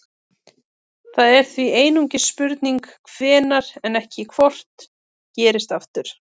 það er því einungis spurning hvenær en ekki hvort gerist aftur